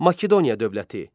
Makedoniya dövləti.